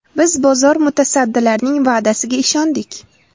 Biz bozor mutasaddilarining va’dasiga ishondik.